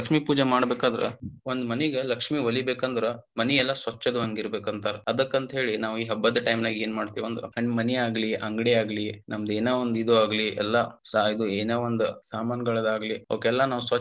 ಲಕ್ಷ್ಮಿ ಪೂಜೆ ಮಾಡಬೇಕಾದ್ರ ಒಂದ ಮನಿಗ ಲಕ್ಷ್ಮಿ ವಲೀಬೇಕಂದ್ರ ಮನಿ ಎಲ್ಲಾ ಸ್ವಚ್ಛ ಇರಬೇಕಂತಾರ ಅದಕ್ಕ ಅಂತೇಳಿ ನಾವ ಈ ಹಬ್ಬದ time ನಾಗ ಏನ ಮಾಡ್ತೀವಂದ್ರ ಮನಿಯಾಗಲಿ ಅಂಗಡಿಯಾಗ್ಲಿ ನಮ್ಮ ಏನ ಒಂದ ಇದು ಆಗ್ಲಿ ಎಲ್ಲಾ ಸಾಯೇಬ ಏನ ಒಂದ ಸಾಮಾನಗಳಾಗ್ಲಿ ಅವಕ್ಕೆಲ್ಲ ನಾವ.